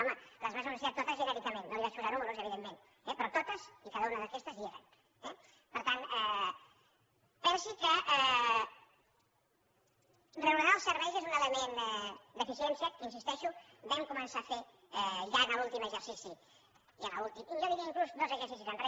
home les vaig anunciar totes genèricament no els vaig posar números evidentment però totes i cada una d’aquestes hi eren eh per tant pensi que reordenar els serveis és un element d’eficiència que hi insisteixo vam començar a fer ja en l’últim exercici i jo diria inclús dos exercicis enrere